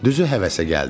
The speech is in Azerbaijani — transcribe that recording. Düzü həvəsə gəldim.